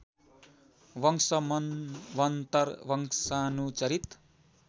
वंश मन्वन्तर वंशानुचरित